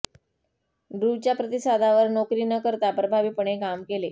ड्रूच्या प्रतिसादावर नोकरी न करता प्रभावीपणे काम केले